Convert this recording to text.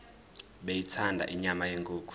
beyithanda inyama yenkukhu